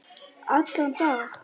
Allan dag?